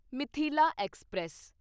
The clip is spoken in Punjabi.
ਮਿਥਿਲਾ ਐਕਸਪ੍ਰੈਸ